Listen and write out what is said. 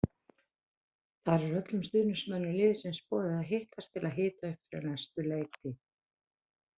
Þar er öllum stuðningsmönnum liðsins boðið að hittast til að hita upp fyrir næstu leiktíð.